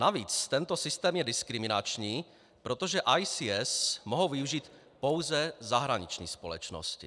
Navíc tento systém je diskriminační, protože ICS mohou využít pouze zahraniční společnosti.